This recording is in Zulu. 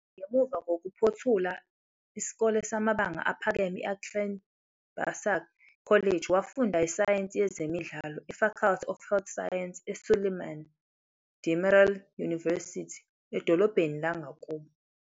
Ngemuva kokuphothula isikole samabanga aphakeme i-Altınbaşak College, wafunda iSayensi Yezemidlalo e-Faculty of Health Science eSüleyman Demirel University edolobheni langakubo.